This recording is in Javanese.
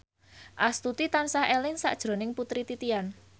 Astuti tansah eling sakjroning Putri Titian